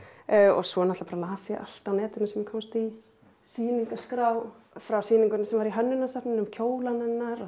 svo náttúrulega bara las ég allt á netinu sem ég komst í sýningarskrá frá sýningunni sem var í Hönnunarsafninu um kjólana hennar